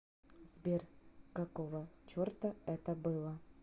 сбер какого черта это было